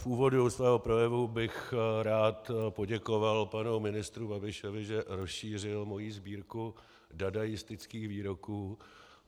V úvodu svého projevu bych rád poděkoval panu ministru Babišovi, že rozšířil moji sbírku dadaistických výroků.